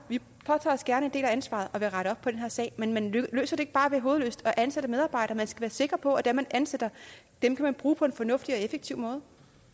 påtager os gerne en del af ansvaret og vil rette op på den her sag men man løser det ikke bare ved hovedløst at ansætte medarbejdere man skal være sikker på at dem man ansætter kan man bruge på en fornuftig og effektiv måde